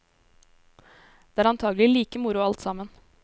Det er antagelig like moro alt sammen.